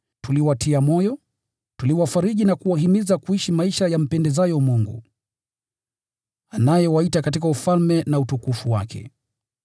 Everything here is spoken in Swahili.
Tuliwatia moyo, tuliwafariji na kuwahimiza kuishi maisha yampendezayo Mungu, anayewaita katika Ufalme na utukufu wake.